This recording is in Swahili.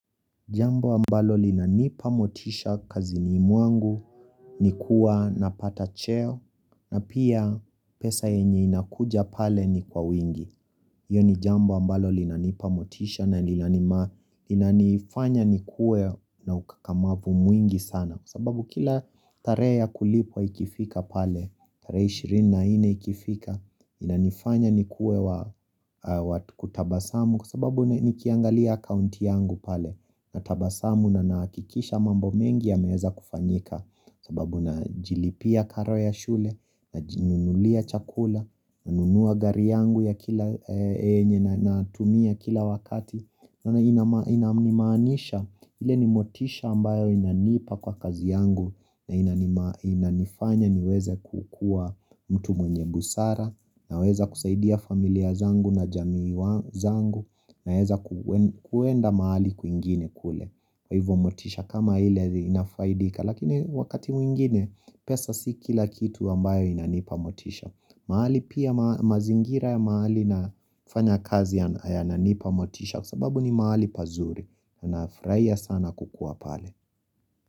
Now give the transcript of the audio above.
Jambo ambalo linanipa motisha kazini mwangu, ni kuwa napata cheo, na pia pesa yenye inakuja pale ni kwa wingi hiyo ni jambo ambalo linanipa motisha, na linanifanya nikuwe na ukakamavu mwingi sana. Sababu kila tarehe ya kulipwa ikifika pale, tarehe ishirini na nne ikifika, inanifanya nikuwe wa kutabasamu. Kwa sababu nikiangalia akaunti yangu pale, natabasamu na nahakikisha mambo mengi yameweza kufanyika, sababu najilipia karo ya shule najinunulia chakula, nanunua gari yangu ya kila yenye natumia kila wakati. Na inama nimaanisha ile ni motisha ambayo inanipa kwa kazi yangu. Na inanifanya niweze kukuwa mtu mwenye busara. Naweza kusaidia familia zangu na jamii zangu, naweza kuenda mahali kwingine kule. Kwa hivyo motisha kama ile inafaidika. Lakini wakati mwingine, pesa si kila kitu ambayo inanipa motisha mahali pia mazingira ya mahali nafanya kazi yananipa motisha. Kwa sababu ni mahali pazuri, ninafurahia sana kukuwa pale.